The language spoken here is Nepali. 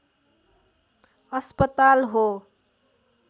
अस्पताल हो